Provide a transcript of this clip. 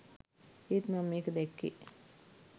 ඒත් මම මේක දැක්කේ